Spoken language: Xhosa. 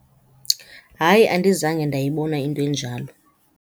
Hayi. Andizange ndayibona into enjalo.